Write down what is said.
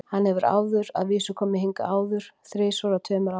Hann hefur að vísu komið hingað áður, þrisvar á tveimur árum.